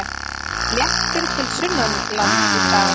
Léttir til sunnanlands í dag